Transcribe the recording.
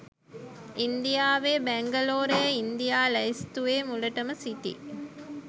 ඉන්දියාවේ බැංගලෝරය ඉන්දියා ලැයිස්තුවේ මුලටම සිටී